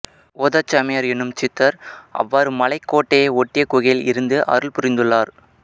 ஓதச்சாமியார் எனும் சித்தர் அவ்வாறு மலைக்கோட்டையை ஒட்டிய குகையில் இருந்து அருள் புரிந்துள்ளார்